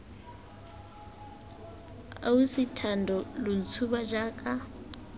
ausi thando lo ntshuba jaaka